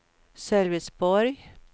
Sölvesborg